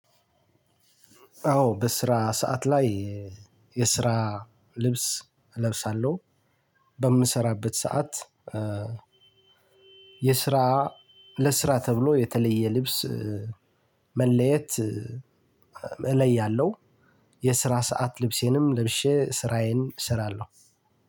አዎ በስራ ሰዓት ላይ የስራ ልብስ እለብሳለሁ በምሰራበት ሰዓት። የስራ ለስራ ተብሎ የተለየ ልብስ መለየት እለያለሁ። የስራ ሰዓት ልብሴንም ለብሼ ስራዬን እሰራለሁ።